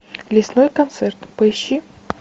лесной концерт поищи